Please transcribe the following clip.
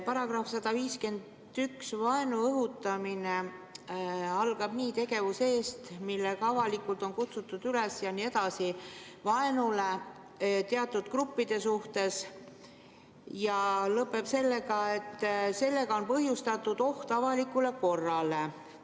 § 151 "Vaenu õhutamine" algab nii: "Tegevuse eest, millega avalikult on kutsutud üles vaenule " ja lõpeb sõnadega "kui sellega on põhjustatud oht avalikule korrale".